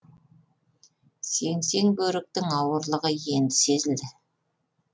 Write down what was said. сеңсең бөріктің ауырлығы енді сезілді